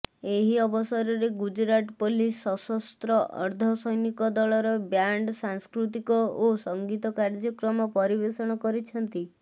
ଏହି ଅବସରରେ ଗୁଜରାଟ ପୋଲିସ ସଶସ୍ତ୍ର ଅର୍ଦ୍ଧସୈନିକ ବଳର ବ୍ୟାଣ୍ଡ ସାଂସ୍କୃତିକ ଓ ସଙ୍ଗୀତ କାର୍ଯ୍ୟକ୍ରମ ପରିବେଷଣ କରିଛନ୍ତି